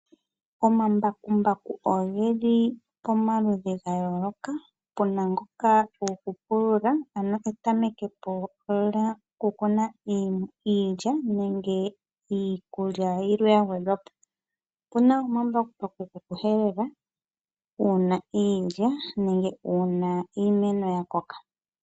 Omambakumbaku oge li pamaludhi ga yooloka. Opu na ngoka gokupulula, ano etameke po lyokukuna iilya nenge iikulya yilwe ya gwedhwa po. Opu na omambakumbaku gokuhelele uuna iilya nenge uuna iimeno ya koka.